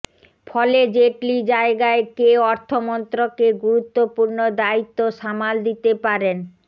ফলে জেটলি জায়গায় কে অর্থমন্ত্রকের গুরুত্বপূর্ণ দায়িত্ব সামাল দিতে পারেন